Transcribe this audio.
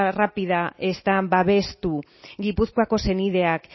rápida están babestu gipuzkoako senideak